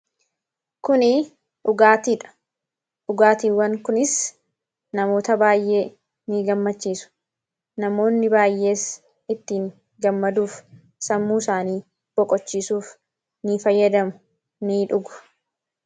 Kun dhugaatuidha. Dhugaatiiwwan kunis namoota baay'ee ni gammachiisuu. Namoonni baay'eenis ittiin gammaduuf sammuu isaanii boqochiisuuf ni fayyadamu; ni dhugu.